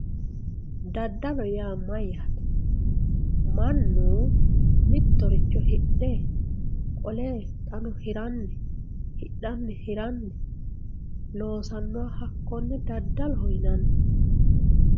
daddalo yaa mayyaate mannu mittoricho hidhe qole xaano hiranni hidhanni hiranni loosannoha hakkonne daddaloho yinanni.